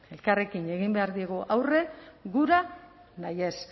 elkarrekin egin behar diegu aurre gura nahi ez